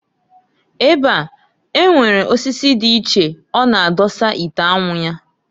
Ebe a, enwere osisi di iche ọ na adọsa ite anwu ya.